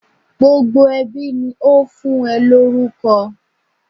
Gbogbo ẹbí ni ó fún ẹ lórúkọ.